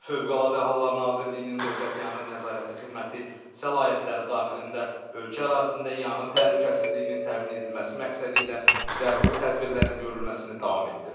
Fövqəladə Hallar Nazirliyinin Dövlət Yanğın Nəzarəti Xidməti səlahiyyətləri daxilində ölkə ərazisində yanğın təhlükəsizliyinin təmin edilməsi məqsədilə zəruri tədbirlərin görülməsini davam etdirir.